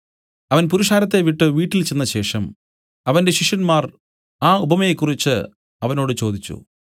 അവൻ പുരുഷാരത്തെ വിട്ടു വീട്ടിൽ ചെന്നശേഷം അവന്റെ ശിഷ്യന്മാർ ആ ഉപമയെക്കുറിച്ച് അവനോട് ചോദിച്ചു